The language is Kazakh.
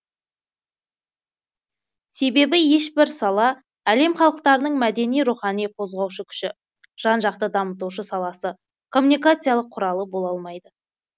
себебі ешбір сала әлем халықтарының мәдени рухани қозғаушы күші жан жақты дамытушы саласы коммуникациялық құралы бола алмайды